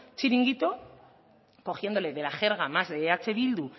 chiringuito cogiéndole de jerga más de eh bildu